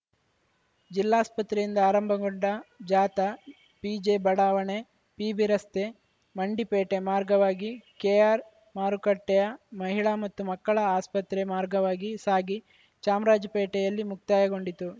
ಜಿಲ್ಲಾಸ್ಪತ್ರೆಯಿಂದ ಆರಂಭಗೊಂಡ ಜಾಥಾ ಪಿಜೆಬಡಾವಣೆ ಪಿಬಿರಸ್ತೆ ಮಂಡಿಪೇಟೆ ಮಾರ್ಗವಾಗಿ ಕೆಆರ್‌ಮಾರುಕಟ್ಟೆಯ ಮಹಿಳಾ ಮತ್ತು ಮಕ್ಕಳ ಆಸ್ಪತ್ರೆ ಮಾರ್ಗವಾಗಿ ಸಾಗಿ ಚಾಮರಾಜ ಪೇಟೆಯಲ್ಲಿ ಮುಕ್ತಾಯಗೊಂಡಿತು